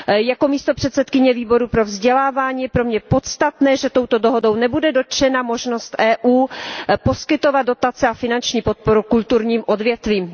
Jako místopředsedkyně Výboru pro kulturu a vzdělávání je pro mě podstatné, že touto dohodou nebude dotčena možnost Evropské unie poskytovat dotace a finanční podporu kulturním odvětvím.